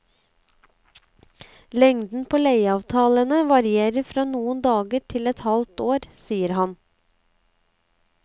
Lengden på leieavtalene varierer fra noen dager til et halvt år, sier han.